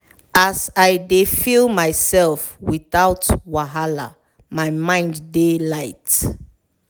as i dey feel myself without wahala my mind dey light.